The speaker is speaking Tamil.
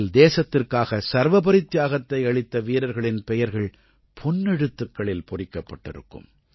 இதில் தேசத்திற்காக சர்வபரித்தியாகத்தை அளித்த வீரர்களின் பெயர்கள் பொன்னெழுத்துக்களில் பொறிக்கப்பட்டிருக்கும்